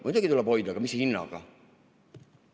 Muidugi tuleb hoida, aga mis hinnaga?